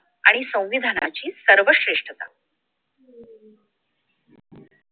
आणि संविधानाची सर्वश्रेष्ठता